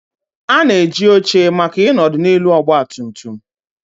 A na-eji oche maka ịnọdụ n'elu ọgba tum tum.